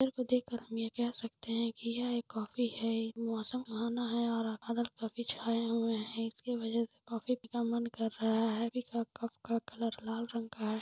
Picture को देख कर हम ये कह सकते है की यह एक कोफ़ी है मौसम सुहाना है और बादल काफी छाये हुए है इसके वजह से कोफ़ी पिने का मन कर रहा है कप का क कलर लाल रंग का है।